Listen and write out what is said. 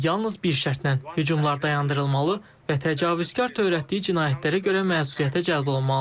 lakin yalnız bir şərtlə: hücumlar dayandırılmalı və təcavüzkar törətdiyi cinayətlərə görə məsuliyyətə cəlb olunmalıdır.